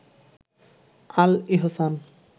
আল ইহসান